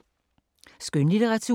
Skønlitteratur